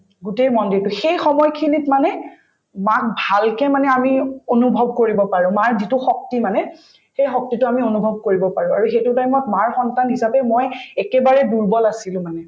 গোটেই মন্দিৰতো সেই সময়খিনিত মানে মাক ভালকে মানে আমি অনুভৱ কৰিব পাৰো মাৰ যিটো শক্তি মানে সেই শক্তিতো আমি অনুভৱ কৰিব পাৰো আৰু সেইটোৰ কাৰণে মই মাৰ সন্তান হিচাপে মই একেবাৰে দুৰ্বল আছিলো মানে